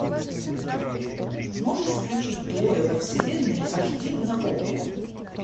можешь включить двое во вселенной аш ди на окко